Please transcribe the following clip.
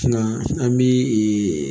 an bi